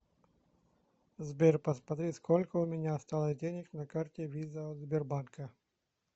сбер посмотри сколько у меня осталось денег на карте виза от сбербанка